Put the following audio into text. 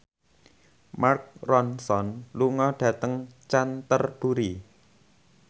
Mark Ronson lunga dhateng Canterbury